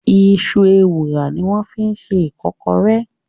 Iṣu Ewùrà ni wọ́n fi ṣe Ìkọ́kọrẹ́